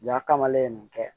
Ja kamalen ye nin kɛ